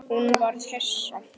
Hún varð hissa.